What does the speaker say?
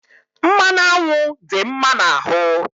Mmanụ anwụ dị mma n'ahụ